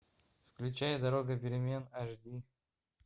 включай дорога перемен аш ди